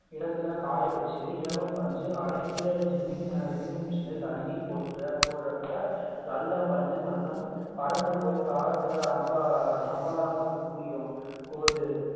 இடத்தில காய வைத்து இலவம் பஞ்சு அரைக்கிற ginning machine ல் அள்ளி கொட்டுற போடுறப்போ நல்ல பஞ்சு மட்டும் பறந்து போய் காத்துல ஹம்பாரமா குமியும் போது